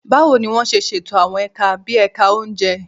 Báwo ni wọ́n ṣe ṣètò àwọn ẹ̀ka bí ẹ̀ka oúnjẹ?